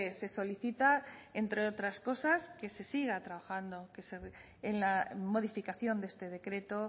se solicita entre otras cosas que se siga trabajando en la modificación de este decreto